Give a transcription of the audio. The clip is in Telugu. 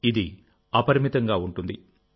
ఇది అపరిమితంగా ఉంటుంది